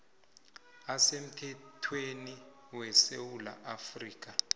asemthethweni wesewula afrika